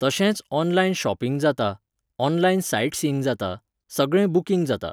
तशेंच online shopping जाता, online sightseeing जाता, सगळें booking जाता.